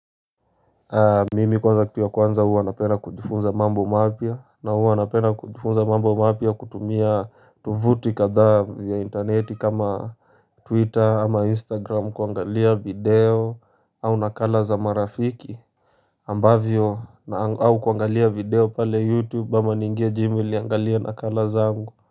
Mimi kwanza kitu ya kwanza huwa napenda kujifunza mambo mapya na huwa napenda kujifunza mambo mapya kutumia tuvuti katha vya interneti kama twitter ama instagram kuangalia video au nakala za marafiki ambavyo au kuangalia video pale youtube ba maningejimi liangalia nakala zaangu.